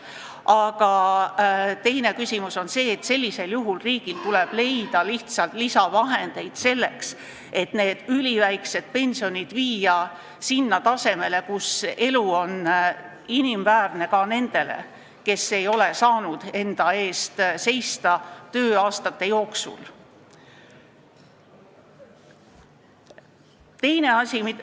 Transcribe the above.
Aga teine küsimus on see, et sellisel juhul tuleb riigil leida lihtsalt lisavahendeid, et üliväiksed pensionid viia tasemele, kus elu on inimväärne ka nendel, kes ei ole saanud enda eest tööaastate jooksul seista.